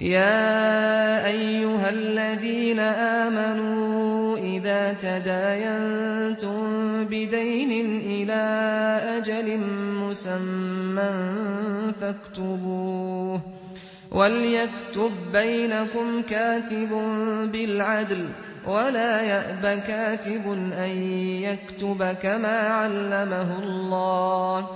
يَا أَيُّهَا الَّذِينَ آمَنُوا إِذَا تَدَايَنتُم بِدَيْنٍ إِلَىٰ أَجَلٍ مُّسَمًّى فَاكْتُبُوهُ ۚ وَلْيَكْتُب بَّيْنَكُمْ كَاتِبٌ بِالْعَدْلِ ۚ وَلَا يَأْبَ كَاتِبٌ أَن يَكْتُبَ كَمَا عَلَّمَهُ اللَّهُ ۚ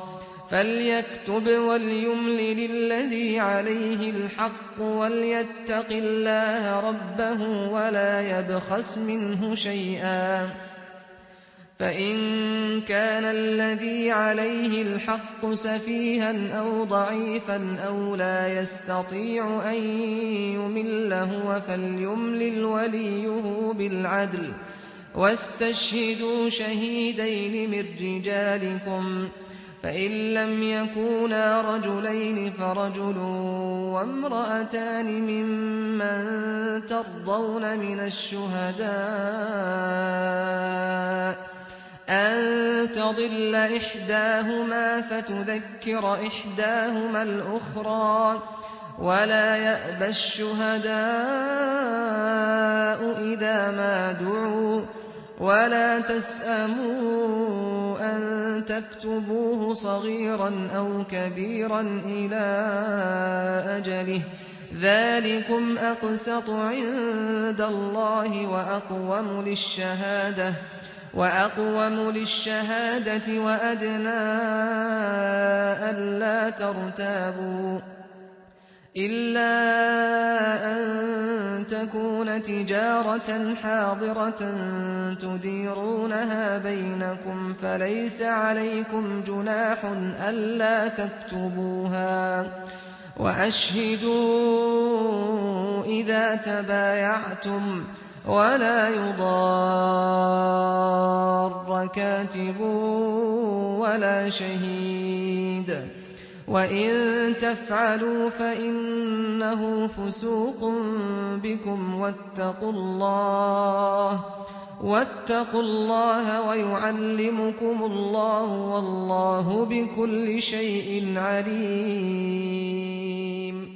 فَلْيَكْتُبْ وَلْيُمْلِلِ الَّذِي عَلَيْهِ الْحَقُّ وَلْيَتَّقِ اللَّهَ رَبَّهُ وَلَا يَبْخَسْ مِنْهُ شَيْئًا ۚ فَإِن كَانَ الَّذِي عَلَيْهِ الْحَقُّ سَفِيهًا أَوْ ضَعِيفًا أَوْ لَا يَسْتَطِيعُ أَن يُمِلَّ هُوَ فَلْيُمْلِلْ وَلِيُّهُ بِالْعَدْلِ ۚ وَاسْتَشْهِدُوا شَهِيدَيْنِ مِن رِّجَالِكُمْ ۖ فَإِن لَّمْ يَكُونَا رَجُلَيْنِ فَرَجُلٌ وَامْرَأَتَانِ مِمَّن تَرْضَوْنَ مِنَ الشُّهَدَاءِ أَن تَضِلَّ إِحْدَاهُمَا فَتُذَكِّرَ إِحْدَاهُمَا الْأُخْرَىٰ ۚ وَلَا يَأْبَ الشُّهَدَاءُ إِذَا مَا دُعُوا ۚ وَلَا تَسْأَمُوا أَن تَكْتُبُوهُ صَغِيرًا أَوْ كَبِيرًا إِلَىٰ أَجَلِهِ ۚ ذَٰلِكُمْ أَقْسَطُ عِندَ اللَّهِ وَأَقْوَمُ لِلشَّهَادَةِ وَأَدْنَىٰ أَلَّا تَرْتَابُوا ۖ إِلَّا أَن تَكُونَ تِجَارَةً حَاضِرَةً تُدِيرُونَهَا بَيْنَكُمْ فَلَيْسَ عَلَيْكُمْ جُنَاحٌ أَلَّا تَكْتُبُوهَا ۗ وَأَشْهِدُوا إِذَا تَبَايَعْتُمْ ۚ وَلَا يُضَارَّ كَاتِبٌ وَلَا شَهِيدٌ ۚ وَإِن تَفْعَلُوا فَإِنَّهُ فُسُوقٌ بِكُمْ ۗ وَاتَّقُوا اللَّهَ ۖ وَيُعَلِّمُكُمُ اللَّهُ ۗ وَاللَّهُ بِكُلِّ شَيْءٍ عَلِيمٌ